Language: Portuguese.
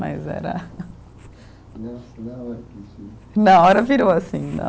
Mas era Na hora virou assim